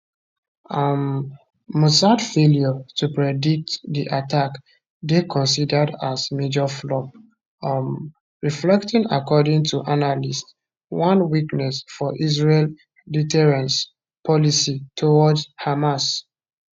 um mossad failure to predict di attack dey considered as major flop um reflecting according to analysts one weakness for israel deterrence policy towards hamas